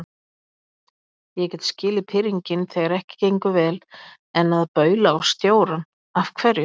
Ég get skilið pirringinn þegar ekki gengur vel, en að baula á stjórann. af hverju?